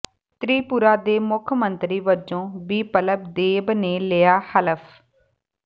ਤ੍ਰਿਪੁਰਾ ਦੇ ਮੁੱਖ ਮੰਤਰੀ ਵਜੋਂ ਬਿਪਲਬ ਦੇਬ ਨੇ ਲਿਆ ਹਲਫ਼